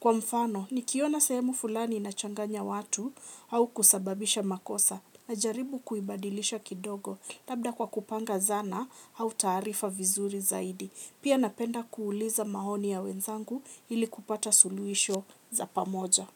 Kwa mfano, nikiona sehemu fulani inachanganya watu au kusababisha makosa najaribu kuibadilisha kidogo labda kwa kupanga zana au tarifa vizuri zaidi. Pia napenda kuuliza maoni ya wenzangu hili kupata suluhisho za pamoja.